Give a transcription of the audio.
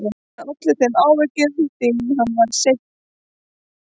Hann olli þeim áhyggjum því að hann var seinþroska.